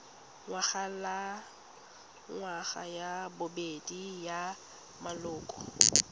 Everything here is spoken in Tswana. ngwagalengwaga ya bobedi ya maloko